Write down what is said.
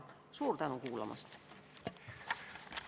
Suur tänu kuulamast!